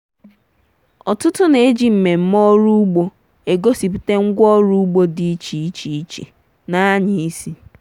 ọtụtụ na-eji mmemme ọrụ ugbo egosipụta ngwaọrụ ugbo dị iche iche iche n'anya isi.